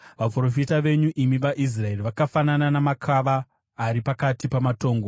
Vaprofita venyu, imi vaIsraeri, vakafanana namakava ari pakati pamatongo.